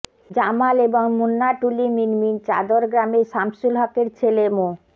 জামাল এবং মুন্নাটুলি মিনমিন চাদর গ্রামের সামসুল হকের ছেলে মো